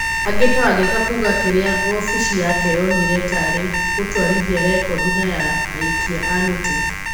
Angĩ ta Wangeka kuuga kĩrĩa wobici yake yonire tarĩ gũtwarĩthia recondi na ya aikia a mĩtĩ.